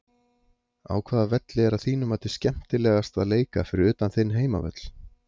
Á hvaða velli er að þínu mati skemmtilegast að leika fyrir utan þinn heimavöll?